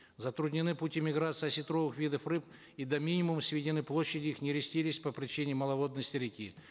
затруднены пути миграции осетровых видов рыб и до минимума сведены площади их нерестилищ по причине маловодности реки